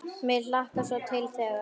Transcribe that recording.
Mig hlakkar svo til þegar.